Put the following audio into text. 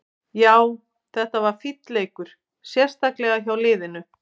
Já, þetta var fínn leikur, sérstaklega hjá liðinu.